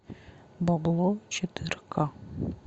бабло четыре ка